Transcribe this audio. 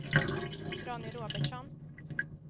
Ronny Robertsson